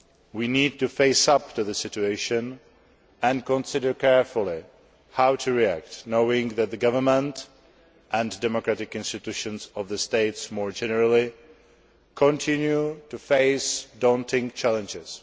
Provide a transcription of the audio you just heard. We need to face up to the situation and consider carefully how to react, knowing that the government, and democratic institutions of the states more generally, continue to face daunting challenges.